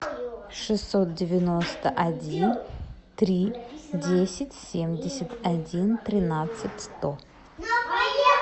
шестьсот девяносто один три десять семьдесят один тринадцать сто